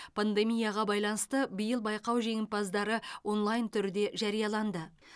пандемияға байланысты биыл байқау жеңімпаздары онлайн түрде жарияланды